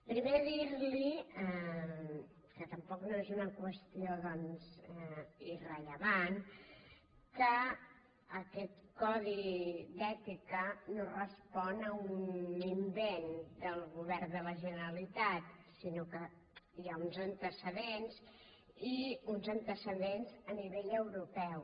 primer dir li que tampoc no és una qüestió doncs irrellevant que aquest codi d’ètica no respon a un invent del govern de la generalitat sinó que hi ha uns antecedents i uns antecedents a nivell europeu